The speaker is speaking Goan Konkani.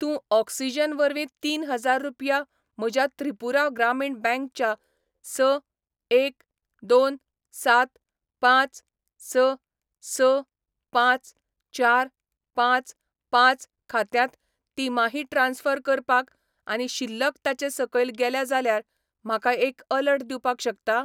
तूं ऑक्सिजन वरवीं तीन हजार रुपया म्हज्या त्रिपुरा ग्रामीण बँक च्या स एक दोन सात पांच स स पांच चार पांच पांच खात्यांत तिमाही ट्रान्स्फर करपाक आनी शिल्लक ताचे सकयल गेल्या जाल्यार म्हाका एक अलर्ट दिवपाक शकता?